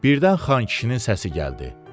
Birdən Xan kişinin səsi gəldi.